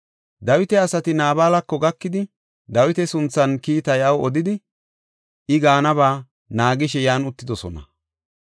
Dawita asati Naabalako gakidi, Dawita sunthaanne kiitaa iyaw odidi, I gaanaba naagishe yan uttidosona.